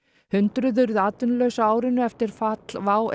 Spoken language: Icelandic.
hundruð urðu atvinnulaus á árinu eftir fall WOW